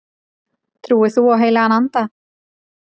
Trúir þú á heilagan anda?